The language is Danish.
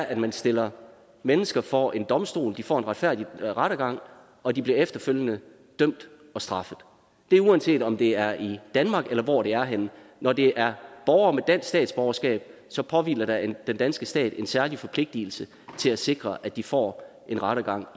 at man stiller mennesker for en domstol de får en retfærdig rettergang og de bliver efterfølgende dømt og straffet det er uanset om det er i danmark eller hvor det er henne når det er borgere med dansk statsborgerskab påhviler der den danske stat en særlig forpligtigelse til at sikre at de får en rettergang